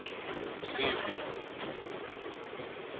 msibi